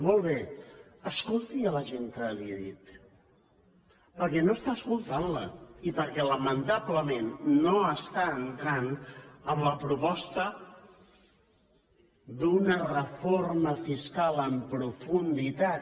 molt bé però escolti la gent que li he dit perquè no està escoltant la i perquè lamentablement no està entrant en la proposta d’una reforma fiscal en profunditat